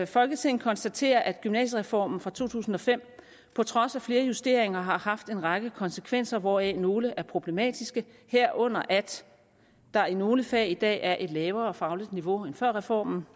folketinget konstaterer at gymnasiereformen fra to tusind og fem på trods af flere justeringer har haft en række konsekvenser hvoraf nogle er problematiske herunder at der i nogle fag i dag er et lavere fagligt niveau end før reformen